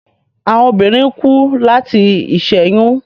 Awọn obinrin ku lati iṣẹyun